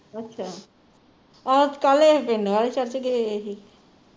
ਅੱਛਾ ਆਹੋ ਕੱਲ ਇਹ ਹੀ ਚਰਚ ਗਏ ਹੋਏ ਸੀ